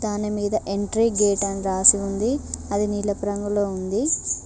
దానిమీద entry gate అని రాసి ఉంది అది నీలపు రంగులో ఉంది.